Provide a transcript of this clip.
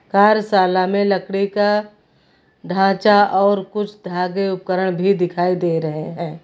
कार्यशाला में लकड़ी का ढांचा और कुछ धागे उपकरण भी दिखाई दे रहे हैं।